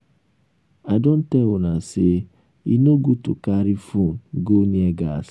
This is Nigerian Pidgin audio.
i don tell una say e no good to carry phone go near gas